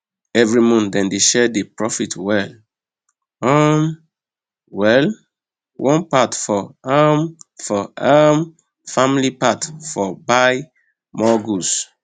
every month dem dey share the profit well um well one part for um for um family one part for buy more goods